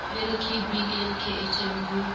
la lkb le khm ho